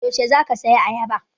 Yaushe za ka saya ayaba?